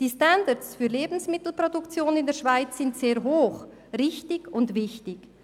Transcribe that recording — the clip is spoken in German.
Die Standards für die Lebensmittelproduktion in der Schweiz sind sehr hoch, richtig und wichtig.